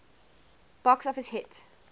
box office hit